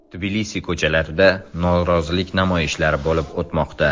Tbilisi ko‘chalarida norozilik namoyishlari bo‘lib o‘tmoqda.